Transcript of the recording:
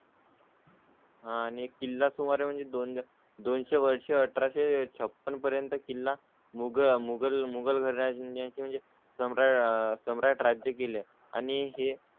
आणि एक किल्ला सुमारे म्हणजे दोन दोनशे वर्ष अठराशे छप्पन पर्यंत किल्ला मुगल मुघल राज्याची म्हणजे जम रा सम्राट राज्य केले आणि हे